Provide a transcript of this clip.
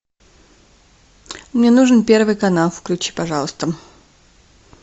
мне нужен первый канал включи пожалуйста